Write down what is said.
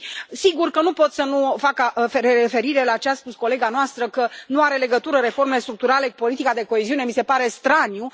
Și, sigur că nu pot să nu fac referire la ce a spus colega noastră, că nu au legătură reformele structurale cu politica de coeziune, mi se pare straniu.